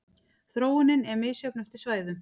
Þróunin er misjöfn eftir svæðum.